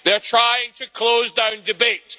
They are trying to close down debate.